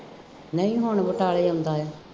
ਨਹੀਂ ਹੁਣ ਬਟਾਲੇ ਜਾਂਦਾ ਹੈ